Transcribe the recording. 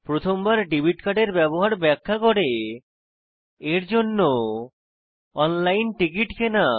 প্রথম বার ডেবিট কার্ডের ব্যবহার ব্যাখ্যা করে এর দ্বারা অনলাইন টিকিট কেনা